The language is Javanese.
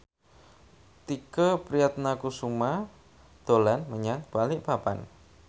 Tike Priatnakusuma dolan menyang Balikpapan